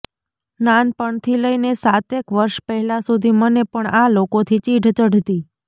નાનપણથી લઇને સાતેક વર્ષ પહેલાં સુધી મને પણ આ લોકોથી ચીઢ ચઢતી